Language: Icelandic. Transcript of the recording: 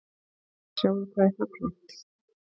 Sjáðu hvað er fallegt.